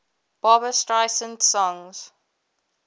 barbra streisand songs